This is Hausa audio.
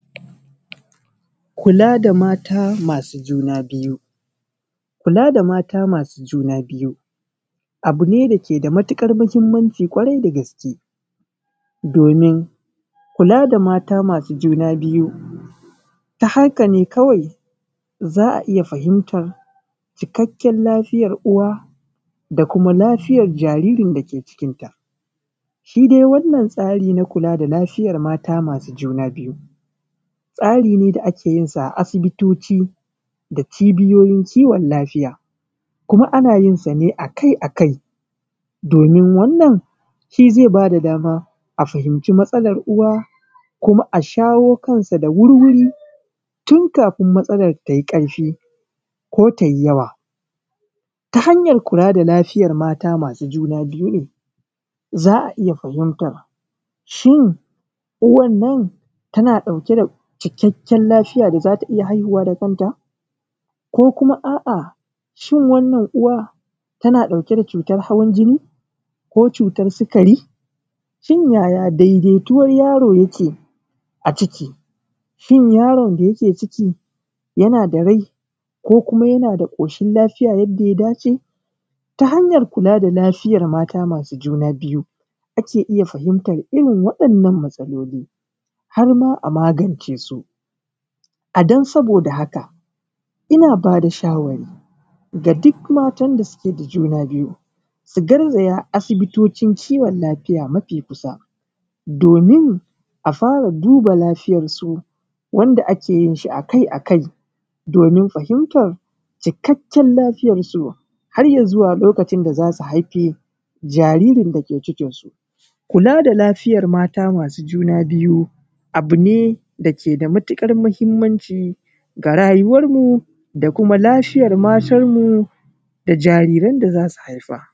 Kula da mata masu juna biyu. Kula da mata masu juna biyu abu ne dake da matuƙar muhimmanci ƙwarai da gaske domin kula da mata masu juna biyu ta haka ne kwai za a iya fahimtar cikakken lafiyan uwa da kuma lafiyar jariri da ke cikinta. Shi dai wannan tsarin na kula da lafiyar mata masu juna biyu, tsari ne da ake yinsa a asibitoci da cibiyoyin kiwon lafiya, kuma ana yinsa ne akai akai domin wannan shi zai ba da dama a fahimci matsalan uwa kuma a shawo kansa da wurwuri tun kafin matsalan ta yi ƙarfi ko tayi yawa. Ta hanyar kula da lafiyar mata masu juna biyu za a iya fahimtar shin uwa nan tana ɗauke da cikakken lafiya da za ta iya haihuwa da kanta, ko kuma a’a shin wannan uwa tana ɗauke da cutar hawan jini, ko cutar sikari? Shin yaya daidaituwan yaro yake a ciki? Shin yaron da yake cikin yana da rai ko kuma yana da ƙoshin lafiya yadda ya dace? Ta hanyar kula da lafiyan mata masu juna biyu ake iya fahimtar irin waɗannan matsaloli har ma a magance su. A don saboda haka ina ba da shawarwari ga duk matan da suke da juna biyu su garzaya asibitocin kiwan lafiya mafi kusa domin a fara duba lafiyarsu wanda ake yi akai akai domin fahimtar cikakken lafiyan ki, har izuwa lokacin da za su haifi jaririn da ke cikin su. Kula da lafiyar mata masu juna biyu abu ne dake da matuƙar muhimmanci ga rayuwar mu da kuma lafiyar matan mu da jarirai da za su haifa.